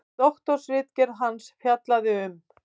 Doktorsritgerð hans fjallaði um